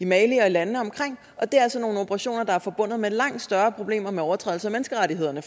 mali og i landene omkring og det er altså nogle operationer der er forbundet med langt større problemer med overtrædelse af menneskerettighederne